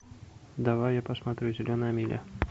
давай я посмотрю зеленая миля